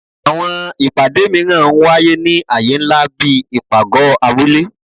Àwọn ìpàdé míràn ń wáyé ní aye nlá bí ipágọ abule